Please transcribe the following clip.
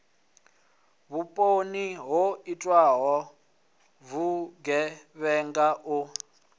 vhuponi ho iteaho vhugevhenga u